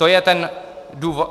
To je ten důvod.